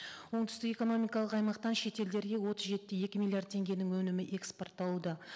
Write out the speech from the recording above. оңтүстік экономикалық аймақтан шет елдерге отыз жеті де екі миллиард теңгенің өнімі экспортталуда